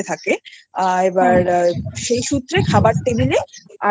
দিতে থাকে আর এবার সেই সূত্রে খাবার টেবিলে আবির মানে